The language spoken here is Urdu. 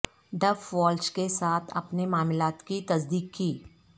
ڈف والش کے ساتھ اپنے معاملات کی تصدیق کی